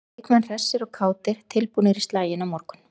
Leikmenn hressir og kátir- tilbúnir í slaginn á morgun.